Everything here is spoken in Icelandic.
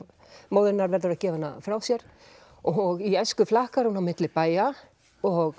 móðir hennar verður að gefa hana frá sér og í æsku flakkar hún á milli bæja og